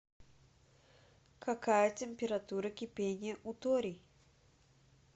какая температура кипения у торий